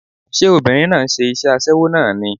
Ṣé obìnrin náà ń ṣe iṣẹ́ aṣẹ́wó náà ni?